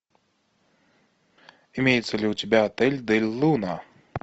имеется ли у тебя отель дель луна